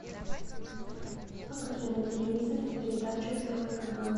покажи на телевизоре передачу первый канал